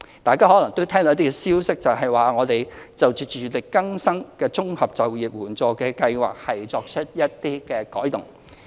大家可能聽到一些消息指，我們就社署委託非政府機構營運的自力更生綜合就業援助計劃會作出一些改動。